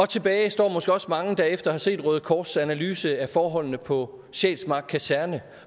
tilbage står måske også mange der efter at have set røde kors analyse af forholdene på sjælsmark kaserne